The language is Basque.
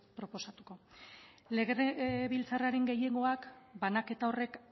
proposatuko legebiltzarraren gehiengoak banaketa horrek